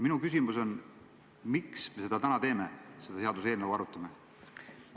Minu küsimus on järgmine: miks me seda täna teeme ja seda seaduseelnõu arutame?